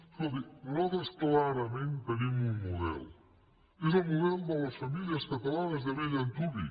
escolti nosaltres clarament tenim un model és el model de les famílies catalanes de bell antuvi